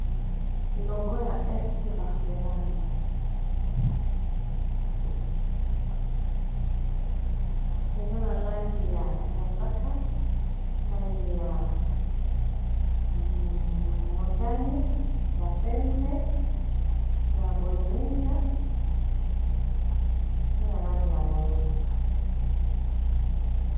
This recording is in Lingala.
Logo ya efsi barcelone eza na langi ya mosaka, langi ya motani ,ya pembe ya bozinga pe na langi ya moinda